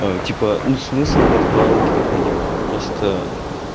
типа ну смысл виртуалок я понимаю просто